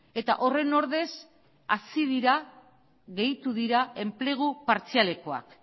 eta horren ordez hazi dira gehitu dira enplegu partzialekoak